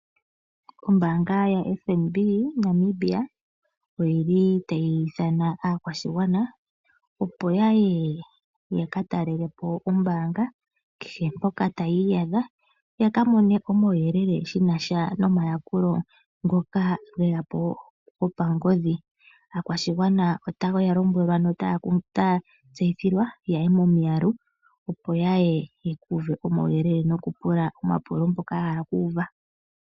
Ombanga ya FNB Namibia oyili tayi ithana aakwashigwana opo yaye yaka talelepo ombanga kehe mpoka taya iyadha yakamone omauyelele shinasha nomayakulo ngoka ge yapo gopangodhi. Aakwashigwana otaya lombwelwa noku tseyithilwa yaye momiyalu opo yaye yeku uve omauyelele noku pula omapulo mpoka yahala oku uva.